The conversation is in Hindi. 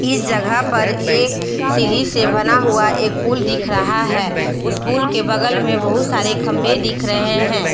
इस जगह पर एक सीढ़ी से बना हुआ एक पुल दिख रहा है उस पुल के बगल में बहुत सारे खंभे दिख रहे हैं।